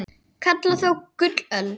kalla þó gullöld